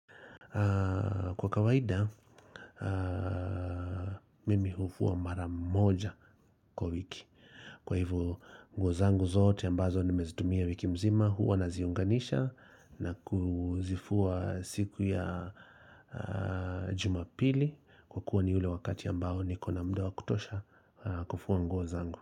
Kwa kawaida, mimi hufua mara moja kwa wiki. Kwa hivyo nguo zangu zote ambazo nimezitumia wiki mzima huwa naziunganisha na kuzifua siku ya jumapili Kwa kuwa ni ule wakati ambao niko na muda wa kutosha kufua nguo zangu.